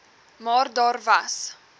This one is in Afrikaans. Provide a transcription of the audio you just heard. maar daar was